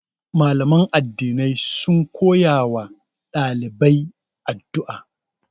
Mallaman addinai sun koya ma ɗalibai addu'a.